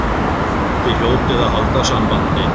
Þið hljótið að halda sambandi.